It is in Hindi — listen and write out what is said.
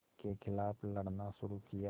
के ख़िलाफ़ लड़ना शुरू किया